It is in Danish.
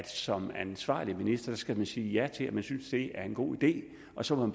som ansvarlig minister skal sige ja til at man synes det er en god idé og så må